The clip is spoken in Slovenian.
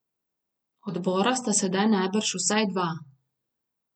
Odbora sta sedaj najbrž vsaj dva.